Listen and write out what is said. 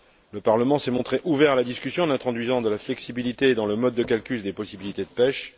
Le Parlement s'est montré ouvert à la discussion en introduisant de la flexibilité dans le mode de calcul des possibilités de pêche.